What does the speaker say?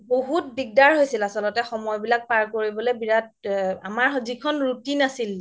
বহুত দিগদাৰ হৈছিল আচলতে সময় বিলাক পাৰ কৰিব লে বিৰাত আমাৰ যিখন routine আছিল